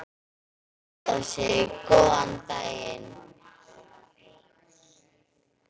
Heiða segir góðan daginn!